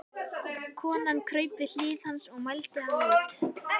Konan kraup við hlið hans og mældi hann út.